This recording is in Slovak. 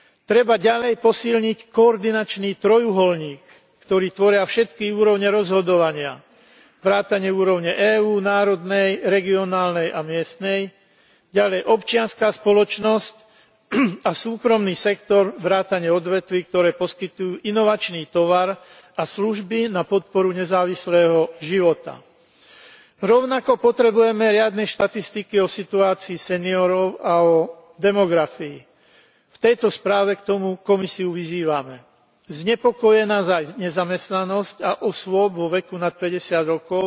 Treba ďalej posilniť koordinačný trojuholník, ktorý tvoria všetky úrovne rozhodovania vrátane úrovne EÚ, národnej, regionálnej a miestnej, ďalej občianska spoločnosť a súkromný sektor vrátane odvetví, ktoré poskytujú inovačný tovar a služby na podporu nezávislého života. Rovnako potrebujeme riadne štatistiky o situácii seniorov a o demografii. V tejto správe k tomu Komisiu vyzývame. Znepokojuje nás nezamestnanosť osôb vo veku nad 50 rokov